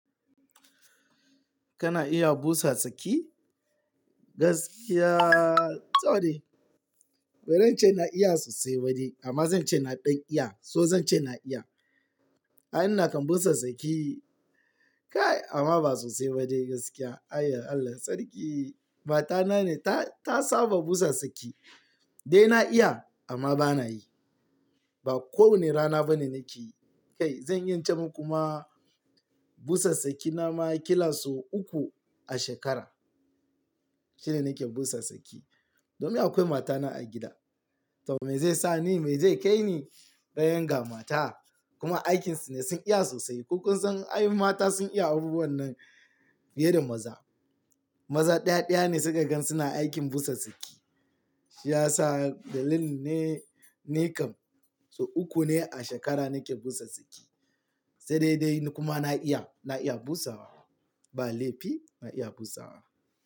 Kana iya busa saki? Gaskiya, to dai. Ba ran ce na iya sosai ba dai, amma zan ce na ɗan iya, so zan ce na iya. A ina kan busa saki, kai amma ba sosai ba dai gaskiya. Allah sarki matana ne ta, ta saba busa saki. Dai na iya amma bana yi. Ba kowane rana ba ne nake yi. Kai zan iya in ce muku ma busa saki na ma kila sau uku a shekara. Shine nake busa saki. Domin akwai matana a gida. To me zai sa ni, me zai kai ni bayan ga mata? Kuma aikinsu ne sun iya sosai. Ko kun san ai mata sun iya abubuwan nan fiye da maza. Maza ɗaya ɗaya ne suka gan suna aikin busa saki. Shi ya sa dalili ne, ne kam. So uku ne a shekara nake busa saki. Sai dai dai ni kuma na iya, na iya busawa. Ba laifi na iya busawa.